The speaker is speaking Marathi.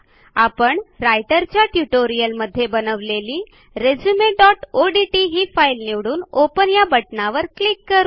आपण रायटरच्या ट्युटोरियलमध्ये बनवलेली resumeओडीटी ही फाईल निवडून ओपन या बटणावर क्लिक करू